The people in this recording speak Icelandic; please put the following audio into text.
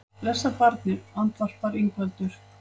Blessað barnið, andvarpaði Ingveldur.